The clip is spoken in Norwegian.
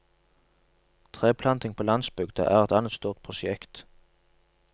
Treplanting på landsbygda er et annet stort prosjekt.